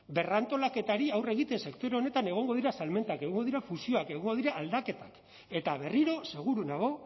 berrantolaketari aurre egiten sektore honetan egongo dira salmentak egongo dira fusioak egongo dira aldaketak eta berriro seguru nago